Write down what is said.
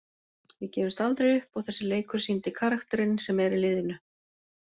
Við gefumst aldrei upp og þessi leikur sýndi karakterinn sem er í liðinu.